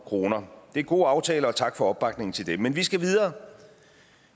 kroner det er gode aftaler og tak for opbakningen til dem men vi skal videre